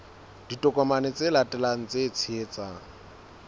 ditokomane tse latelang tse tshehetsang